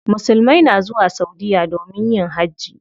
Musulmai na zuwa saudiya domin yin hajji.